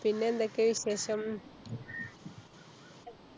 പിന്നെന്തൊക്കെയാ വിശേഷം